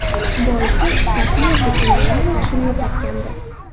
Boisi Sofiya Zikrillayeva hushini yo‘qotgandi.